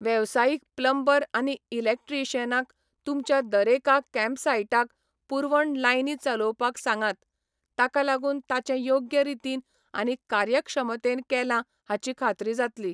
वेवसायीक प्लंबर आनी इलेक्ट्रीशियनांक तुमच्या दरेका कॅम्पसाईटाक पुरवण लायनी चलोवपाक सांगात, ताका लागून ताचें योग्य रितीन आनी कार्यक्षमतेन केलां हाची खात्री जातली.